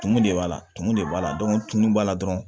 Tumu de b'a la tumu de b'a la tumu b'a la dɔrɔn